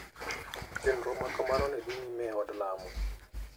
Chenro makamano ne dhi nyime e od lamo.